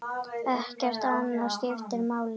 Ekkert annað skiptir máli.